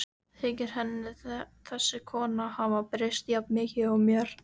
Þykir henni þessi kona hafa breyst jafn mikið og mér?